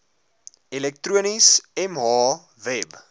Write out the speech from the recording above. elektronies mh web